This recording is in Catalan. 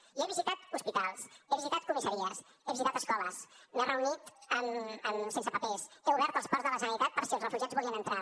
jo he visitat hospitals he visitat comissaries he visitat escoles m’he reunit amb sense papers he obert els ports de la generalitat per si els refugiats volien entrar